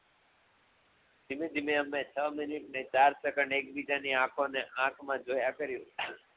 ધીમે ધીમે અમે છ મિનિટ અને ચાર સેકંડ ઍક બીજાની આંખોને આંખ મા જોયા કર્યું